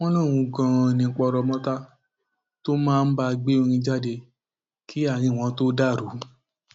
wọn lóun ganan ní poromọta tó máa ń bá a gbé orin jáde kí àárín wọn tóó dàrú